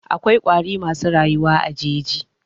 Akwai ƙwari masu rayuwa a jeji.